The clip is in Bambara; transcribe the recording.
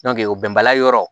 o bɛnbaliya yɔrɔ